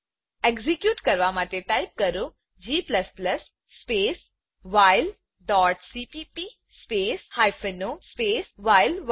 execute કરવા માટે type કરો g space while dot CPP space hyphen O space વ્હાઇલ1